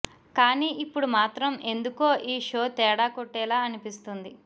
కానీ ఇప్పుడు మాత్రం ఎందుకో ఈ షో తేడా కొట్టేలా అనిపిస్తుంది